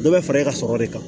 Dɔ bɛ fara e ka sɔrɔ de kan